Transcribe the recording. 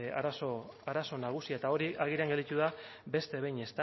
arazo nagusia eta hori agerian gelditu da beste behin